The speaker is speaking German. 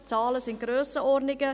Die Zahlen sind Grössenordnungen.